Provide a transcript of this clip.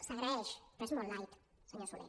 s’agraeix però és molt light senyor soler